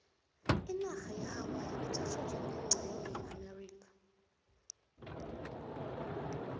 inarha ye hawaii ithathwa njengencenye yeamerika